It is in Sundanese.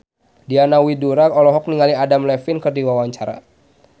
Diana Widoera olohok ningali Adam Levine keur diwawancara